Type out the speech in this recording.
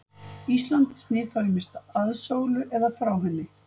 Ísland snýr þá ýmist að sólu eða frá henni.